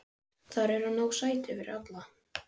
Þar eru nóg sæti fyrir alla.